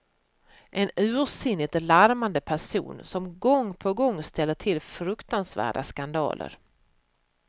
En ursinnigt larmande person, som gång på gång ställer till fruktansvärda skandaler.